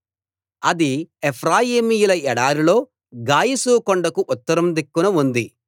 అది ఎఫ్రాయిమీయుల ఎడారిలో గాయషు కొండకు ఉత్తరం దిక్కున ఉంది